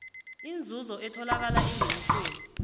inzuzo etholakala engenisweni